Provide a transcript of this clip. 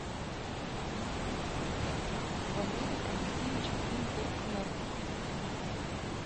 валерий алексеевич киндеркнехт